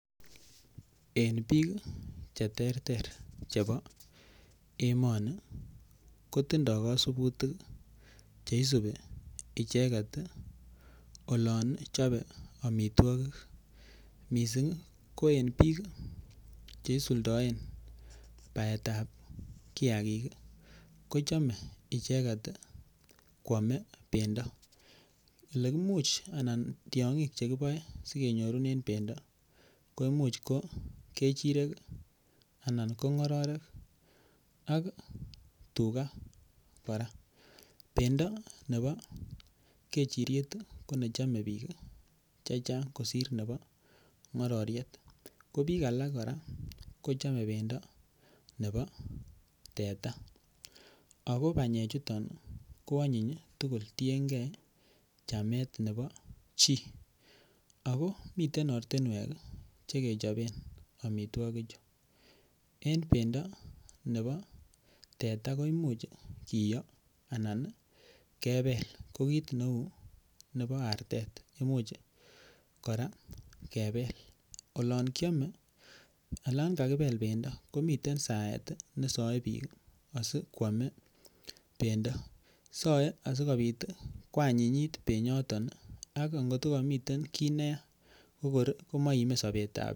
En bik Che terter chebo emoni ko tindoi kasubutik Che terter Che isubi icheget olon chobe amitwogik mising ko en bik Che isuldoen baetab kiagik ko chome icheget koame bendo Ole Imuch anan tiongik Che kiboe asi kenyorunen bendo ko Imuch ko kechirek anan ko ngororek ak tuga kora bendo nebo kechiriet ko ne chome bik chechang kosir nebo ngororiet ko bik alak kora kochome bendo nebo teta ago banyechuton koanyiny tugul tienge chamet nebo chi ako miten ortinwek Che kechoben amitwogichu en bendo nebo teta ko Imuch kiyoo anan kebel ko kit neu nebo artet Imuch kora kebel olon kiame olon kakibel bendo komiten saet nesoe bik asi koame bendo soe asikobit koanyinyit bendo ak ko angot ko komi ki neyaa komoime sobetab chi